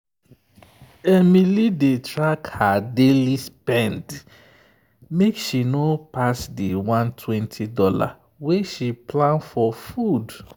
emily dey track her daily spend make she no pass the $120 wey she plan for food.